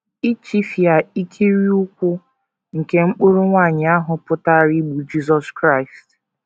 Ichifịa ikiri ụkwụ nke mkpụrụ nwanyị ahụ pụtara igbu Jisọs Kraịst.